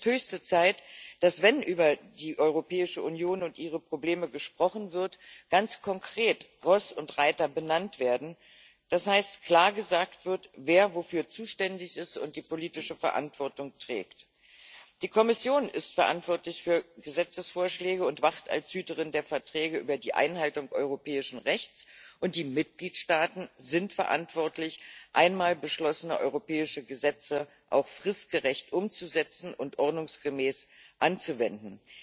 Es ist höchste Zeit, dass, wenn über die Europäische Union und ihre Probleme gesprochen wird, ganz konkret Ross und Reiter benannt werden, das heißt, klar gesagt wird, wer wofür zuständig ist und die politische Verantwortung trägt. Die Kommission ist verantwortlich für Gesetzesvorschläge und wacht als Hüterin der Verträge über die Einhaltung europäischen Rechts, und die Mitgliedstaaten sind verantwortlich, einmal beschlossene europäische Gesetze auch fristgerecht umzusetzen und ordnungsgemäß anzuwenden.